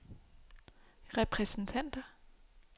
repræsentanter